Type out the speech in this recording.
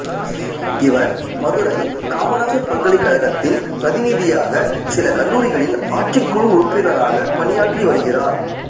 இவர் மதுரை காமராசர் பல்கலைக்கழகத்தின் பிரதிநிதியாக சில கல்லூரிகளின் ஆட்சிக்குழு உறுப்பினராகப் பணியாற்றி வருகிறார்